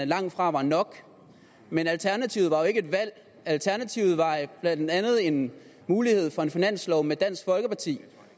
langtfra var nok men alternativet var jo ikke et valg alternativet var blandt andet en mulighed for en finanslov med dansk folkeparti